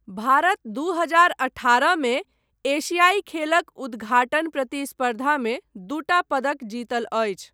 भारत दू हजार अठारहमे एशियाइ खेलक उद्घाटन प्रतिस्पर्धामे दूटा पदक जितल अछि।